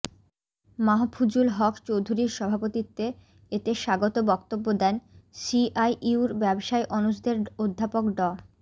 মাহফুজুল হক চৌধুরীর সভাপতিত্বে এতে স্বাগত বক্তব্য দেন সিআইইউর ব্যবসায় অনুষদের অধ্যাপক ড